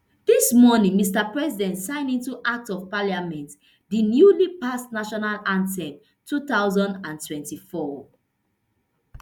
dis morning mr president sign into act of parliament di newly passed national anthem two thousand and twenty-four